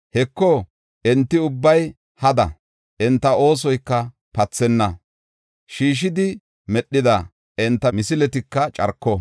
Heko, enti ubbay hada; enta oosoyka pathenna; sheeshidi medhida enta misiletika carko.